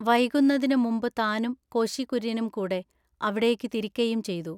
വൈകുന്നതിനു മുമ്പു താനും കോശി കുര്യനും കൂടെ അവിടേക്കു തിരിക്കയും ചെയ്തു.